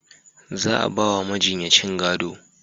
Za a ba wa majinyacin gado